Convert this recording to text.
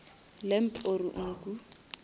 lamb or nku